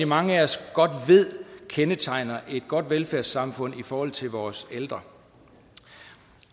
mange af os godt ved kendetegner et godt velfærdssamfund i forhold til vores ældre